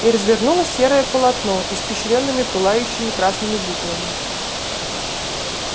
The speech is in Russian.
и развернулось серое полотно испещрённое пылающими красными буквами